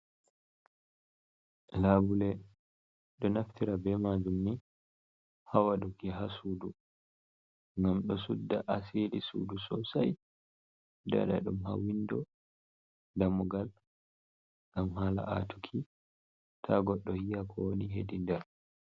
Labule ɗo naftira be majum ni hawaɗuki ha sudu ngam ɗo sudda asiri sudu sosai, dada ɗum ha windo damugal ngam hala atuki ta goɗɗo yiya ko woni hedi nder.